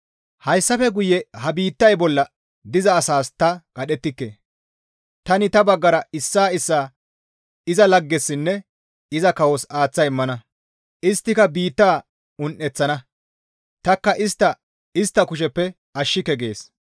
«Hayssafe guye ha biittay bolla diza asas ta qadhettike; tani ta baggara issaa issaa iza laggessinne iza kawos aaththa immana; isttika biitta un7eththana; tanikka istta istta kusheppe ashshike» gees.